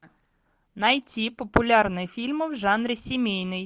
найти популярные фильмы в жанре семейный